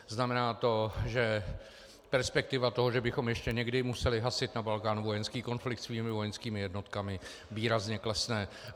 Znamená to, že perspektiva toho, že bychom ještě někdy museli hasit na Balkánu vojenský konflikt svými vojenskými jednotkami, výrazně klesne.